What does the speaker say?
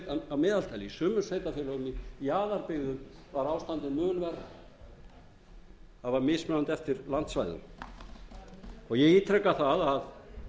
sveitarfélögum í jaðarbyggðum var ástandið mun verra það var mismunandi eftir landsvæðum ég ítreka það að